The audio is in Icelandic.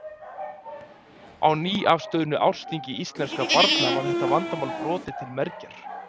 Á nýafstöðnu ársþingi íslenskra barna var þetta vandamál brotið til mergjar.